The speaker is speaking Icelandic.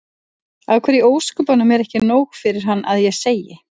Af hverju í ósköpunum er ekki nóg fyrir hann að ég segi